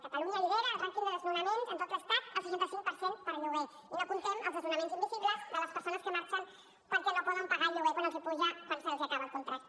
catalunya lidera el rànquing de desnonaments en tot l’estat el seixanta cinc per cent per lloguer i no comptem els desnonaments invisibles de les persones que marxen perquè no poden pagar el lloguer quan se’ls apuja quan se’ls acaba el contracte